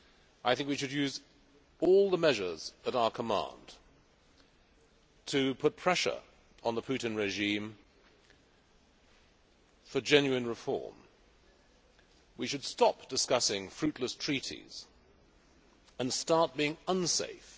I think we should use all the measures at our command to put pressure on the Putin regime for genuine reform. We should stop discussing fruitless treaties and start being unsafe.